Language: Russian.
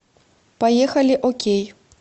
поехали окей